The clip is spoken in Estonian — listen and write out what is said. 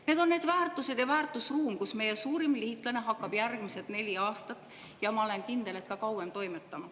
Need on need väärtused ja väärtusruum, kus meie suurim liitlane hakkab toimetama järgmised neli aastat, ja ma olen kindel, et ka kauem.